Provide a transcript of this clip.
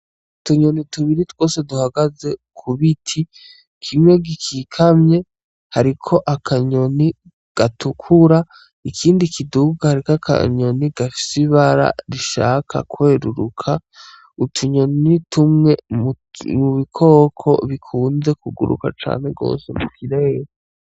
Utunyoni tubiri twose duhagaze ku biti, kimwe gikikamye hariko akanyoni gatukura, ikindi kiduga hariko akanyoni gafise ibara rishaka kweruruka. Utunyoni ni tumwe mu bikoko bikunze kuguruka cane gose mu kirere.